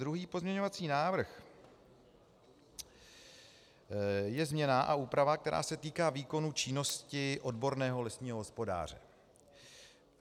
Druhý pozměňovací návrh je změna a úprava, která se týká výkonu činnosti odborného lesního hospodáře.